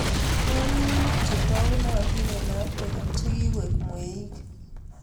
Kwonyik muut chetagunatin eng afrika chekikoeku mweik